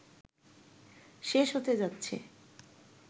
শেষ হতে যাচ্ছে